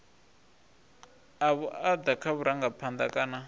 a vhuaḓa kha vharangaphanḓa kana